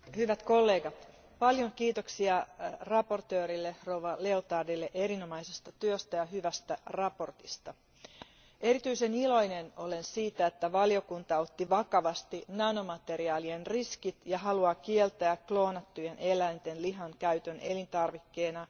Arvoisa puhemies, hyvät kollegat, paljon kiitoksia esittelijä rouva Liotardille erinomaisesta työstä ja hyvästä mietinnöstä. Erityisen iloinen olen siitä, että valiokunta otti vakavasti nanomateriaalien riskit ja haluaa kieltää kloonattujen eläinten lihan käytön elintarvikkeena.